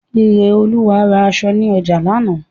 Ireolúwa ra aṣọ ni oja laana